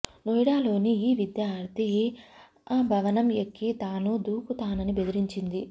నోయిడాలోని అ విద్యార్ధి అ భవనం ఎక్కి తానూ దుకుతానని బెదిరించింది